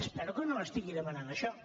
espero que no m’estigui demanant això